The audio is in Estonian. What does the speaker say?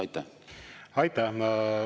Aitäh!